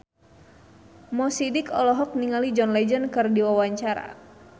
Mo Sidik olohok ningali John Legend keur diwawancara